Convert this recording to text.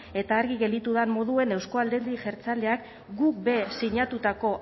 eta argi gelditu den moduan euzko alderdi jeltzaleak guk be sinatutako